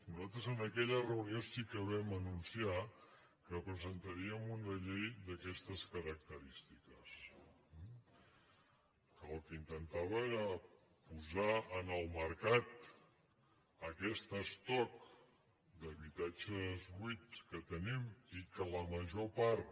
nosaltres en aque·lla reunió sí que vam anunciar que presentaríem una llei d’aquestes característiques que el que intentava era posar en el mercat aquest estoc d’habitatges buits que tenim i que la major part